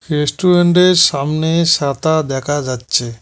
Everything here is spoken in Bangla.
রেস্টুরেন্টের সামনে সাতা দেখা যাচ্ছে।